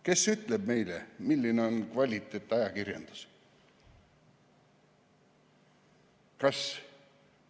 Kes ütleb meile, milline on kvaliteetajakirjandus?